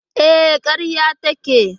E, karya take.